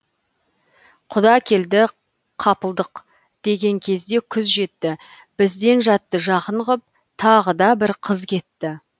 құда келді қапылдық деген кезде күз жетті бізден жатты жақын ғып тағы да бір қыз кетті